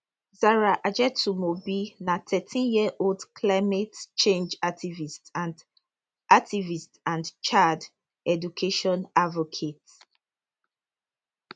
zahra ajetunmobi na thirteen yearold climate change activist and activist and child education advocate